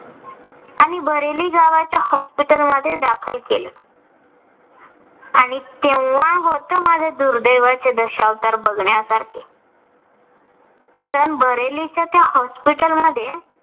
आणि बरेली गावाच्या hospital मध्ये दाखल केलं. आणि तेंव्हा होतं माझे दुर्दैवाचे दशावतार बघण्यासारखे. कारण बरेलीच्या त्या hospital मध्ये